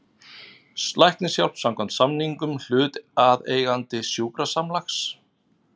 Læknishjálp samkvæmt samningum hlutaðeigandi sjúkrasamlags.